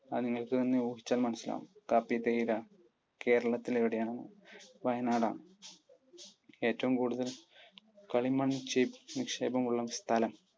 അത് നിങ്ങൾക്ക് തന്നെ ഊഹിച്ചാൽ മനസിലാവും, കാപ്പി, തേയില കേരളത്തിൽ എവിടെയാണ്? വയനാട് ആണ്. ഏറ്റവും കൂടുതൽ കളിമൺ നിക്ഷേപം ഉള്ള സ്ഥലം.